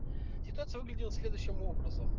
ситуация выглядела следующим образом